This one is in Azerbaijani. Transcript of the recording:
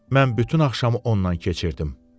Mən bütün axşamı ondan keçirdim.